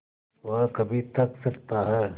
वह कभी थक सकता है